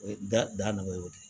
O ye da nɔgɔ ye o de ye